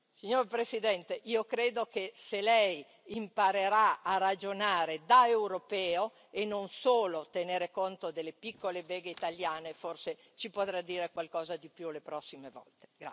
Signor Presidente, io credo che, se lei imparerà a ragionare da europeo e non solo a tenere conto delle piccole beghe italiane, forse ci potrà dire qualcosa di più le prossime volte.